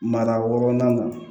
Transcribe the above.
Mara wɔɔrɔnan kan